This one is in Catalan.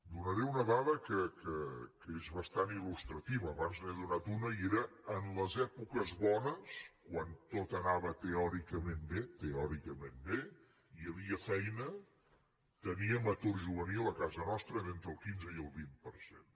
donaré una dada que és bastant il·lustrativa abans n’he donada una i era en les èpoques bones quan tot anava teòricament bé teòricament bé hi havia feina teníem atur juvenil a casa nostra d’entre el quinze i el vint per cent